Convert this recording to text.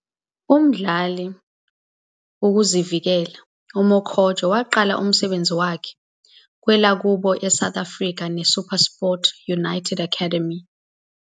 A mdlali ukuzivikela, Mokotjo waqala umsebenzi wakhe e lwakubo South Africa ne Supersport United Academy.